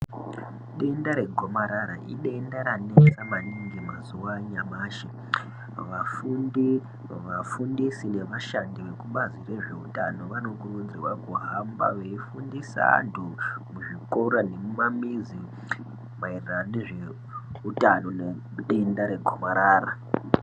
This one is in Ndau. Denda regomarara idenda ranesa maningi mazuwa anyamashi vafundisi navashandi vekubazi reutano vanokurudzirwa kuhamba veifundi veifundisa vandu muzvikora nemumamizi maerano nezveutano nezvedenda regomarara .